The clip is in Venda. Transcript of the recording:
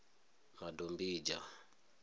madombidzha